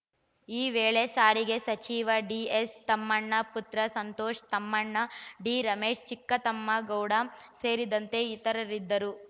ಈ ವೇಳೆ ಸಾರಿಗೆ ಸಚಿವ ಡಿಎಸ್ ತಮ್ಮಣ್ಣ ಪುತ್ರ ಸಂತೋಷ್‌ ತಮ್ಮಣ್ಣ ಡಿರಮೇಶ್‌ ಚಿಕ್ಕತಿಮ್ಮೇಗೌಡ ಸೇರಿದಂತೆ ಇತರರಿದ್ದರು